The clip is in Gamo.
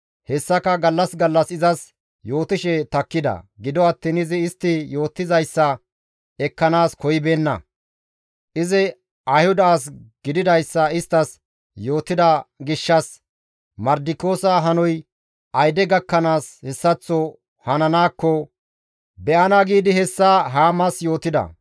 Hessaka gallas gallas izas yootishe takkida; gido attiin izi istti yootizayssa ekkanaas koyibeenna. Izi Ayhuda as gididayssa isttas yootida gishshas, «Mardikiyoosa hanoy ayde gakkanaas hessaththo hananaakko be7ana» giidi hessa Haamas yootida.